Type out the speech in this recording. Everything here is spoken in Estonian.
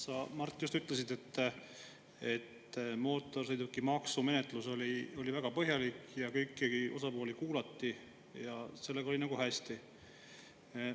Sa, Mart, just ütlesid, et mootorsõidukimaksu menetlus oli väga põhjalik ja kõiki osapooli kuulati ja sellega oli nagu hästi.